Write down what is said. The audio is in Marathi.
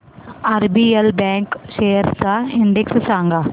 आरबीएल बँक शेअर्स चा इंडेक्स सांगा